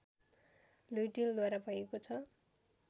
लुइँटेलद्वारा भएको छ